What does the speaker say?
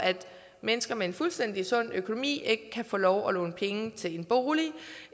mennesker med en fuldstændig sund økonomi ikke kan få lov at låne penge til en bolig